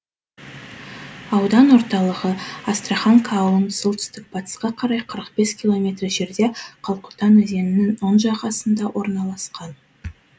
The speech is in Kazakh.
аудан орталығы астраханка ауылынан солтүстік батысқа қарай қырық бес километр жерде қалқұтан өзенінің оң жағасында орналасқан